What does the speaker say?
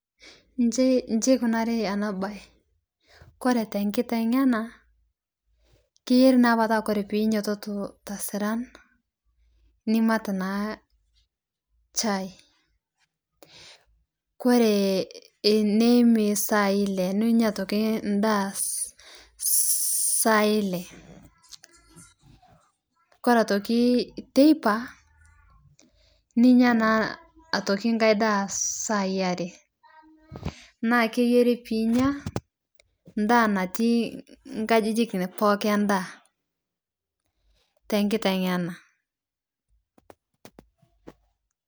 Ijio eikunari ena mbae ore tenkitengena keyieu na ore pee enyiototo tesiran nimat chai ore eniyim esaai ele nimat aitoki endaa saa ele ore aitoki teipa ninyia naa aitoki endaa saa are naa keyieri pee enyia endaa natii tenkitengena